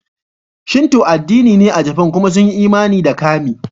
Shinto addini ne a Jafan kuma sun yi imani da kami.